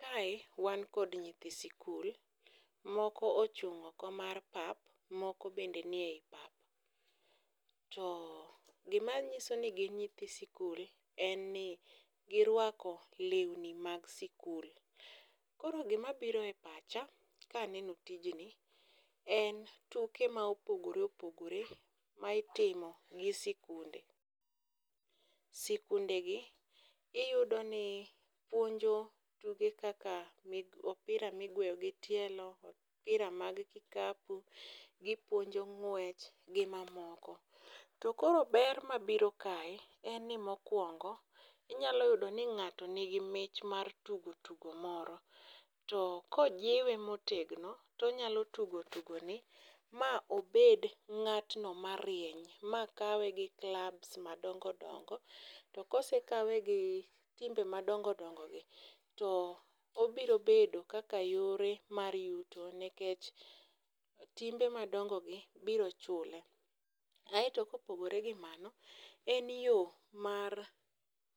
Kae wan kod nyithi sikul, moko ochung' oko mar pap, moko bende ni e i pap. To gima nyiso ni gin nyithi sikul, en ni girwako lewni mag sikul. Koro gima biro e pacha kaneno tijni en tuke ma opogore opogore ma itimo gi sikunde. Sikunde gi iyudo ni puonjo tuke kaka opira migweyo gi tielo, opira mag kikapu, gipuonjo ng'wech gi mamoko. To koro ber mabiro kae, en ni mokwongo inyalo yudo ni ng'ato nigi mich mar tugo tugo moko. To kojiwe motegno, tonyalo tugo tugo ni ma obed ng'atno marieny, ma kawe gi clubs ma dongo dongo. To kosekawe gi timbe madongo dongo gi, to obiro bedo kaka yore mar yuto nekech timbe madongo gi biro chule. Aeto kopogore gi mago, en yo mar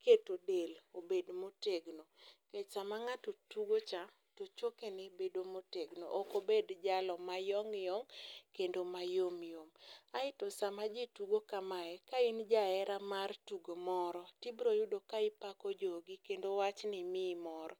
keto del obed motegno. Nikech sama ng'ato tugo cha, to choke ne bedo motegno. Okobed jalo mayong' yong', kendo mayom yom. Aeto sama ji tugo kamae, ka in jahera mar tugo moro, tibroyudo ka ipako jogi kendo wachni miyi mor.